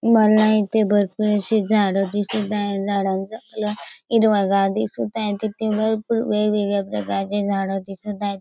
मला येथे भरपूर अशी झाड दिसत आहे झाडांचा कलर हिरवागार दिसत आहे इथे भरपूर वेगवेगळ्या प्रकारचे झाड दिसत आहेत.